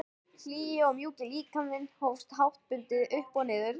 Hlýi og mjúki líkaminn hófst háttbundið upp og niður.